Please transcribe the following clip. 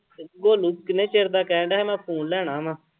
ਗੋਲੂ ਕਿੰਨੇ ਚਿਰ ਦਾ ਕਹਿਣ ਡਿਆ ਮੈਂ phone ਲੈਣਾ ਵਾਂ।